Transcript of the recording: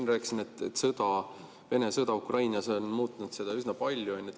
Ma rääkisin, et Vene sõda Ukrainas on muutnud üsna palju.